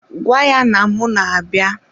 Gwa ya na mụ na-abịa!